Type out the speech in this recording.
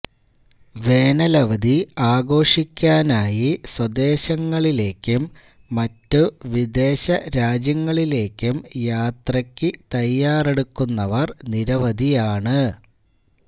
വേനൽ അവധി ആഘോഷിക്കാനായി സ്വദേശങ്ങളിലേക്കും മറ്റ് വിദേശരാജ്യങ്ങളിലേക്കും യാത്രയ്ക്ക് തയ്യാറെടുക്കുന്നവർ നിരവധിയാണ്